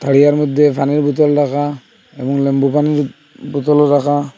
তারিয়ার মদ্যে পানির বোতল রাখা এবং নিম্বু পানির বোতলও রাখা।